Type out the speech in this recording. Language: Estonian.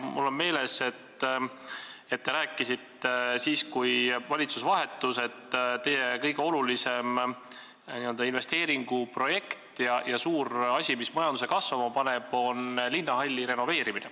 Mul on meeles, et kui valitsus vahetus, siis te ütlesite, et teie kõige olulisem investeeringuprojekt, üks suur asi, mis majanduse kasvama paneb, on linnahalli renoveerimine.